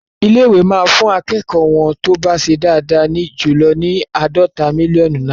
Ilé-ìwé máa fún akẹ́kọ̀ọ́ wọ́n tó bá ṣe dáadáa jù ní àádọ́ta mílíọ́nù náìrà..